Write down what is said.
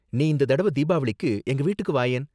நீ இந்த தடவ தீபாவளிக்கு எங்க வீட்டுக்கு வாயேன்.